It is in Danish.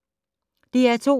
DR2